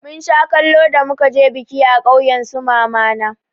Mun sha kallo da muka je biki a ƙauyen su mama na.